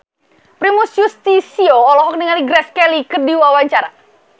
Primus Yustisio olohok ningali Grace Kelly keur diwawancara